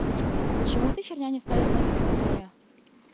а почему эта херня не ставит знаки препинания